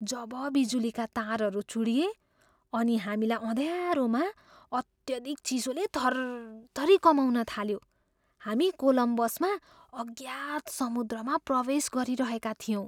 जब बिजुलीका तारहरू चुँडिए अनि हामीलाई अँध्यारोमा अत्यधिक चिसोले थरथरी कमाउन थाल्यो हामी कोलम्बसमा अज्ञात समुद्रमा प्रवेश गरिरहेका थियौँ।